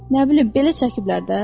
Nə bilim, belə çəkiblər də.